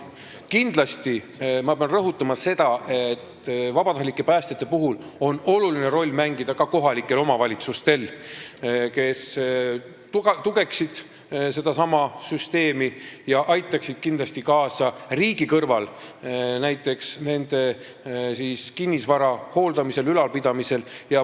Kindlasti pean rõhutama seda, et vabatahtlike päästjate puhul on tähtis roll ka kohalikel omavalitsustel, kes toetaksid seda süsteemi, aitaksid riigi kõrval kaasa näiteks nende kinnisvara hooldamisel ja ülalpidamisel.